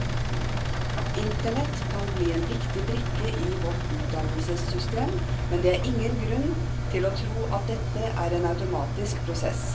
Internett kan bli en viktig brikke i vårt utdannelsessystem, men det er ingen grunn til å tro at dette er en automatisk prosess.